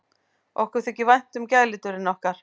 Okkur þykir vænt um gæludýrin okkar.